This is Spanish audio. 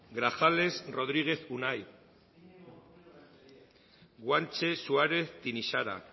grajales rodríguez unai guanche suárez tinixara